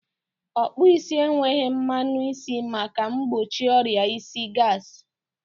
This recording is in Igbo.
Ọkpụụ isi enweghị mmanụ isi maka mgbochi ọria isi gasị.